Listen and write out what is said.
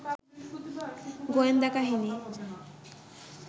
গোয়েন্দা কাহিনী